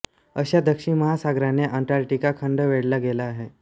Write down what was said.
अशा दक्षिण महासागराने अंटार्क्टिका खंड वेढला गेला आहे